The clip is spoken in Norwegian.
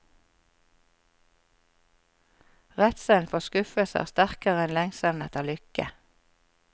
Redselen for skuffelse er sterkere enn lengselen etter lykke.